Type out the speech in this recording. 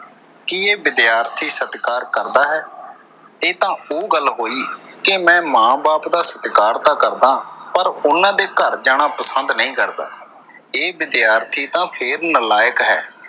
ਕੀ ਇਹ ਵਿਦਿਆਰਥੀ ਸਤਿਕਾਰ ਕਰਦਾ ਹੈ? ਇਹ ਤਾਂ ਉਹ ਗੱਲ ਹੋਈ ਕਿ ਮੈਂ ਮਾਂ ਬਾਪ ਦਾ ਸਤਿਕਾਰ ਤਾਂ ਕਰਦਾਂ ਪਰ ਉਨ੍ਹਾਂ ਦੇ ਘਰ ਜਾਣਾ ਪਸੰਦ ਕਰਦਾ। ਇਹ ਵਿਦਿਆਰਥੀ ਤਾਂ ਫੇਰ ਨਲਾਇਕ ਹੈ।